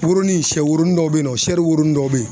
Burunin sɛwoonin dɔ be yen nɔ, dɔw be yen nƆ